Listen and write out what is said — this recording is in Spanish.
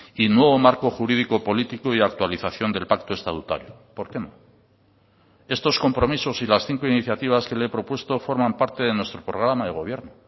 y nuevo marco jurídico político y actualización del pacto estatutario por qué no estos compromisos y las cinco iniciativas que le he propuesto forman parte de nuestro programa de gobierno